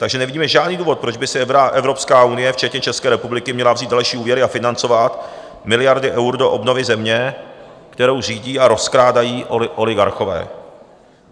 Takže nevidíme žádný důvod, proč by si Evropská unie včetně České republiky měla vzít další úvěry a financovat miliardy eur do obnovy země, kterou řídí a rozkrádají oligarchové.